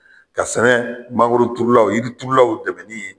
Ka sɛnɛ mangoroturulaw jiriturulaw dɛmɛni ye